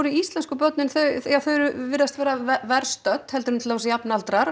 íslensku börnin virðast verr stödd en jafnaldrar